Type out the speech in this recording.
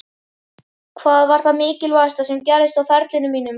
Hvað var það mikilvægasta sem gerðist á ferlinum mínum?